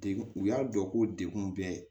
Degun u y'a dɔn ko degun bɛ